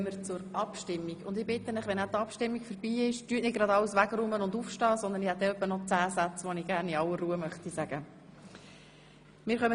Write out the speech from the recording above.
Wir kommen somit zur Abstimmung, und ich bitte Sie, nach der Abstimmung nicht gleich alles aufzuräumen und aufzustehen, denn ich habe noch etwa zehn Sätze, die ich gerne in aller Ruhe sagen möchte.